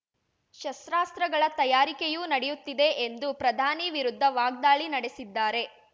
ಶಸ್ತ್ರಾಸ್ತ್ರಗಳ ತಯಾರಿಕೆಯೂ ನಡೆಯುತ್ತಿದೆ ಎಂದು ಪ್ರಧಾನಿ ವಿರುದ್ಧ ವಾಗ್ದಾಳಿ ನಡೆಸಿದ್ದಾರೆ